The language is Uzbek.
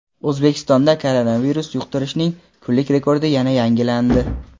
O‘zbekistonda koronavirus yuqtirishning kunlik rekordi yana yangilandi.